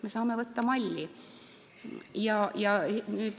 Me saame võtta malli.